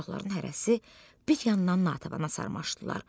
Uşaqların hərəsi bir yandan Natanana sarmaşdılar.